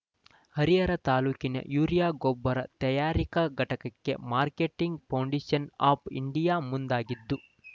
ಹರಿಹರ ತಾಲೂಕಿನ ಯೂರಿಯಾ ಗೊಬ್ಬರ ತಯಾರಿಕಾ ಘಟಕವನ್ನು ಮಾರ್ಕೆಂಟಿಂಗ್‌ ಫೆಡರೇಷನ್‌ ಆಫ್‌ ಇಂಡಿಯಾ ಮುಂದಾಗಿದ್ದು